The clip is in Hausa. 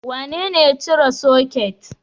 Wanene ya cire soket?